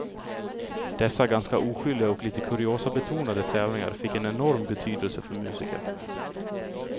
Dessa ganska oskyldiga och lite kuriosabetonade tävlingar fick en enorm betydelse för musiker.